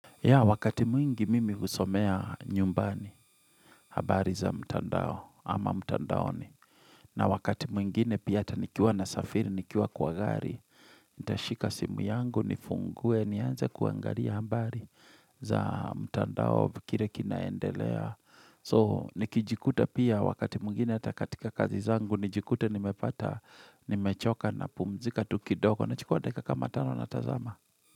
Ya wakati mwingi mimi kusomea nyumbani habari za mtandao ama mtandaoni. Na wakati mwingine pi ata nikiwa nasafiri, nikiwa kwa gari. Nitashika simu yangu, nifungue, nianze kuangalia habari za mtandao kile kinaendelea. So nikijikuta pia wakati mwingine ata katika kazi zangu, nijikute nimepata, nimechoka napumzika tu kidogo nachukuwa dakika kama tano natazama.